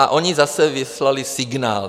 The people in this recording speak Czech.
A oni zase vyslali signál.